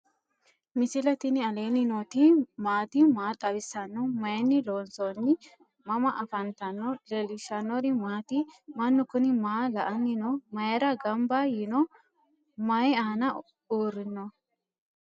misile tini alenni nooti maati? maa xawissanno? Maayinni loonisoonni? mama affanttanno? leelishanori maati? maanu kuni maa la"ani no?mayira ganba yiino? maayi aana uurino?